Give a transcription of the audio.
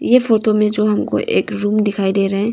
ये फोटो में जो हमको एक रूम दिखाई दे रहे हैं।